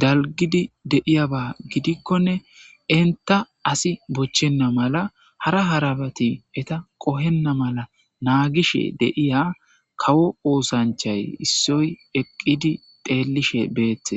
dalgidi de'iyaba gidikonne entta asi bochchenna mala, hara harabati bochchenna mala naagishe de'iya kawo oothancha issoy eqqidi xeellishe beetees.